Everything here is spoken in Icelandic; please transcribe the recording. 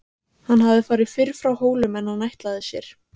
Hann hafði farið fyrr frá Hólum en hann ætlaði sér.